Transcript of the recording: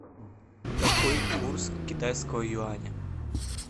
какой курс китайского юаня